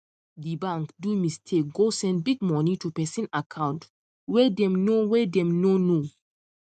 di bank do mistake go send big money to person account wey dem no wey dem no know